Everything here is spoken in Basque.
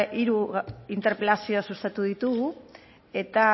hiru interpelazio sustatu ditugu eta